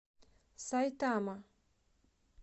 сайтама